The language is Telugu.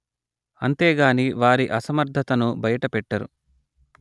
అంతే గాని వారి అసమర్థతను బయట పెట్టరు